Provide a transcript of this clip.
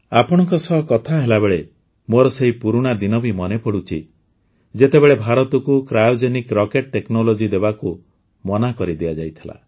ଆପଣଙ୍କ ସହ କଥା ହେଲାବେଳେ ମୋର ସେହି ପୁରୁଣା ଦିନ ବି ମନେପଡ଼ୁଛି ଯେତେବେଳେ ଭାରତକୁ କ୍ରାଇଓଜେନିକ୍ ରକେଟ୍ ଟେକ୍ନୋଲୋଜି ଦେବାକୁ ମନା କରିଦିଆଯାଇଥିଲା